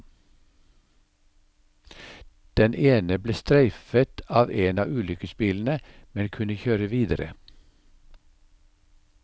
Den ene ble streifet av en av ulykkesbilene, men kunne kjøre videre.